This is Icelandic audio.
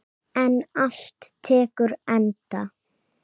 En allt tekur enda.